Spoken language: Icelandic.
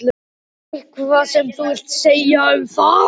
Eitthvað sem þú vilt segja um það?